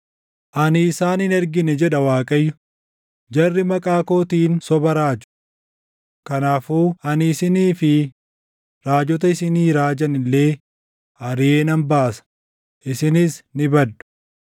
‘Ani isaan hin ergine’ jedha Waaqayyo. ‘Jarri maqaa kootiin soba raaju. Kanaafuu ani isinii fi raajota isinii raajan illee ariʼee nan baasa; isinis ni baddu.’ ”